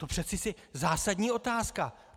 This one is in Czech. To přece je zásadní otázka.